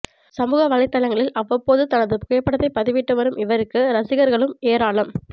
சமூகவலைதளங்களில் அவ்வப்போது தனது புகைப்படத்தை பதிவிட்டு வரும் இவருக்கு ரசிகர்களும் ஏராளம்